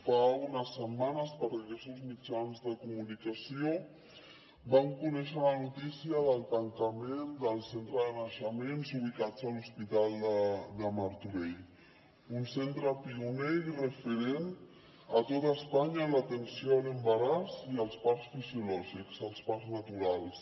fa unes setmanes per diversos mitjans de comunicació vam conèixer la notícia del tancament del centre de naixements ubicat a l’hospital de martorell un centre pioner i referent a tot espanya en l’atenció a l’embaràs i els parts fisiològics els parts naturals